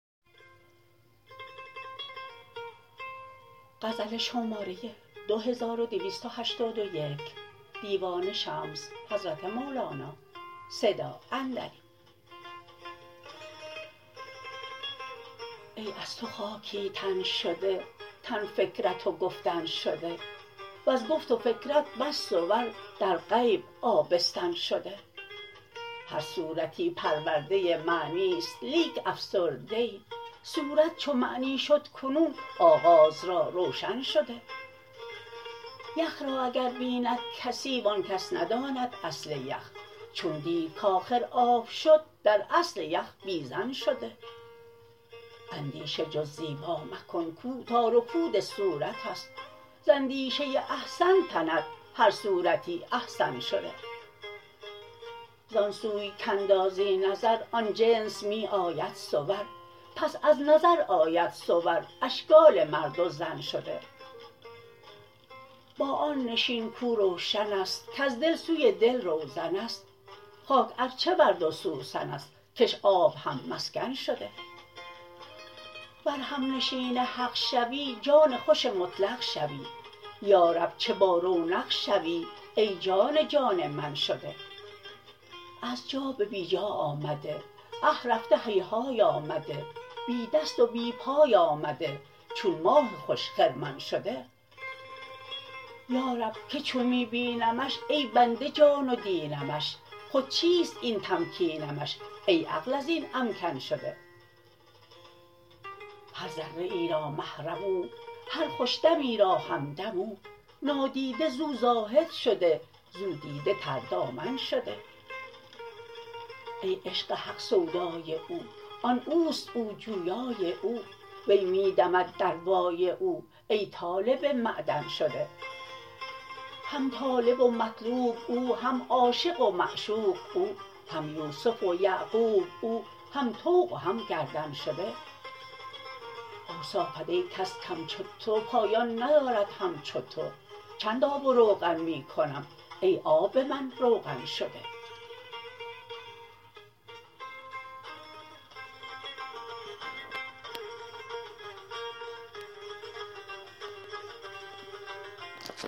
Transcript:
ای از تو خاکی تن شده تن فکرت و گفتن شده وز گفت و فکرت بس صور در غیب آبستن شده هر صورتی پرورده ای معنی است لیک افسرده ای صورت چو معنی شد کنون آغاز را روشن شده یخ را اگر بیند کسی و آن کس نداند اصل یخ چون دید کآخر آب شد در اصل یخ بی ظن شده اندیشه جز زیبا مکن کو تار و پود صورت است ز اندیشه ای احسن تند هر صورتی احسن شده زان سوی کاندازی نظر آن جنس می آید صور پس از نظر آید صور اشکال مرد و زن شده با آن نشین کو روشن است کز دل سوی دل روزن است خاک از چه ورد و سوسن است کش آب هم مسکن شده ور همنشین حق شوی جان خوش مطلق شوی یا رب چه بارونق شوی ای جان جان من شده از جا به بی جا آمده اه رفته هیهای آمده بی دست و بی پای آمده چون ماه خوش خرمن شده یا رب که چون می بینمش ای بنده جان و دینمش خود چیست این تمکینمش ای عقل از این امکن شده هر ذره ای را محرم او هر خوش دمی را همدم او نادیده زو زاهد شده زو دیده تردامن شده ای عشق حق سودای او آن او است او جویای او وی می دمد در وای او ای طالب معدن شده هم طالب و مطلوب او هم عاشق و معشوق او هم یوسف و یعقوب او هم طوق و هم گردن شده اوصافت ای کس کم چو تو پایان ندارد همچو تو چند آب و روغن می کنم ای آب من روغن شده